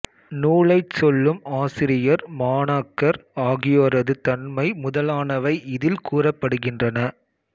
நூலைச் சொல்லும் ஆசிரியர் மாணாக்கர் ஆகியோரது தன்மை முதலானவை இதில் கூறப்படுகின்றன